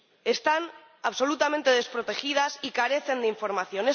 Están absolutamente desprotegidas y carecen de información.